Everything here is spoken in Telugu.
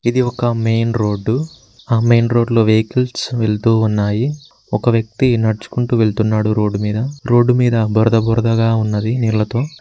ఇది ఒక మెయిన్ రోడ్డు ఆ మెయిన్ రోడ్ లో వెహికిల్స్ వెళ్తూ ఉన్నాయి ఒక వ్యక్తి నడుచుకుంటూ వెళ్తున్నాడు రోడ్డు మీద రోడ్డు మీద బురద బురదగా ఉన్నది నీళ్లతో.